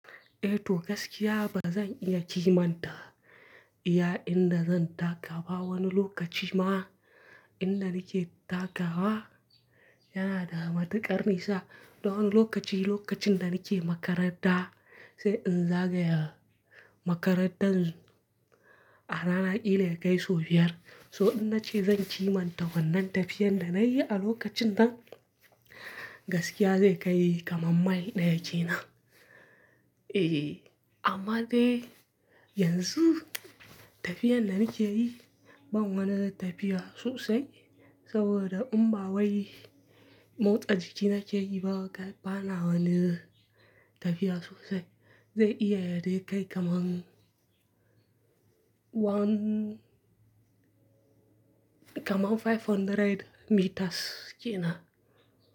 Eh to gaskiya bazan iya kimanta iya inda zan taka da wani lokaci ma, inda nake takawa yana da matuƙar nisa. Don lokaci lokacin da nake makaranta sai in zagaya makarantar arana kila ya kai sau biyar. So in nace zan kimanta wannan tafiyar da nayi a lokacin nan gaskiya zai kai kamar mail ɗaya kenan. Eh amma dai yanzu tafiyar da nake yi, ban wani tafiya sosai saboda in ba wai motsa jiki nake yi ba, bana wani tafiya sosai. Zai iya ya dai kai kamar one kamar mita ɗari biyar kenan.